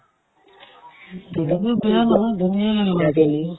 কিমান মানুহ আছে IPL ত ন